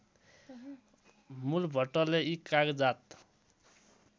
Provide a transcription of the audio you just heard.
मूलभट्टले यी कागजात